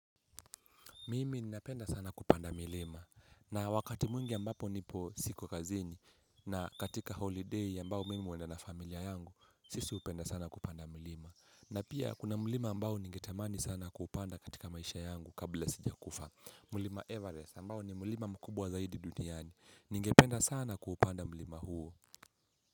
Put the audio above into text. Mimi ninapenda sana kupanda milima na wakati mwingi ambapo nipo siko kazini na katika holiday ambao mimi huenda na familia yangu, sisi hupenda sana kupanda milima. Na pia kuna mlima ambao ningetamani sana kupanda katika maisha yangu kabla sijakufa. Mlima Everest ambao ni mlima mkubwa zaidi duniani ningependa sana kuupanda mlima huo.